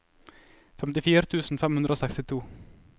femtifire tusen fem hundre og sekstito